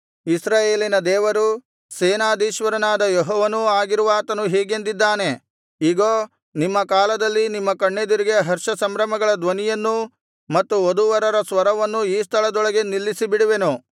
ಇಸ್ರಾಯೇಲಿನ ದೇವರೂ ಸೇನಾಧೀಶ್ವರನಾದ ಯೆಹೋವನೂ ಆಗಿರುವಾತನು ಹೀಗೆಂದಿದ್ದಾನೆ ಇಗೋ ನಿಮ್ಮ ಕಾಲದಲ್ಲಿ ನಿಮ್ಮ ಕಣ್ಣೆದುರಿಗೆ ಹರ್ಷಸಂಭ್ರಮಗಳ ಧ್ವನಿಯನ್ನೂ ಮತ್ತು ವಧೂವರರ ಸ್ವರವನ್ನೂ ಈ ಸ್ಥಳದೊಳಗೆ ನಿಲ್ಲಿಸಿಬಿಡುವೆನು